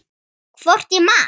Hvort ég man.